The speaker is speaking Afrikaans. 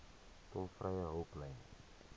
tolvrye hulplyn